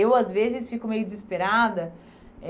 Eu, às vezes, fico meio desesperada.